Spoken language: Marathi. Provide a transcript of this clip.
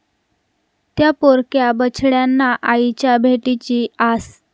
त्या' पोरक्या बछड्यांना आईच्या भेटीची आस